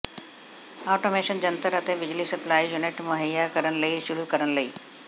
automation ਜੰਤਰ ਅਤੇ ਬਿਜਲੀ ਸਪਲਾਈ ਯੂਨਿਟ ਮੁਹੱਈਆ ਕਰਨ ਲਈ ਸ਼ੁਰੂ ਕਰਨ ਲਈ